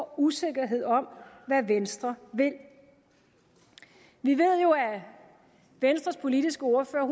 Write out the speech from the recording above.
usikkerhed om hvad venstre vil vi ved jo at venstres politiske ordfører